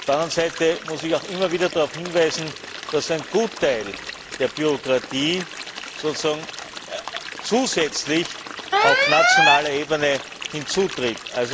Auf der anderen Seite muss ich auch immer wieder darauf hinweisen, dass ein Gutteil der Bürokratie zusätzlich auf nationaler Ebene hinzutritt.